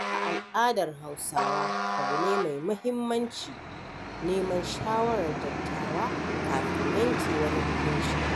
A al'adar Hausawa abu ne mai muhimmanci neman shawarar dattawa kafin yanke wani hukunci.